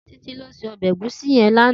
Titi ló sé òbè égúsì yèn làná